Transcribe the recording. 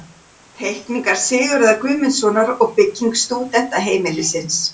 Teikningar Sigurðar Guðmundssonar og bygging stúdentaheimilis